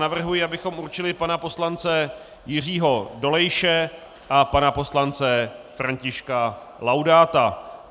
Navrhuji, abychom určili pana poslance Jiřího Dolejše a pana poslance Františka Laudáta.